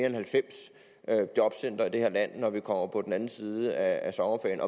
end halvfems jobcentre i det her land når vi kommer på den anden side af sommerferien